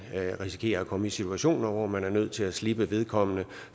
risikerer at komme i situationer hvor man er nødt til at slippe vedkommende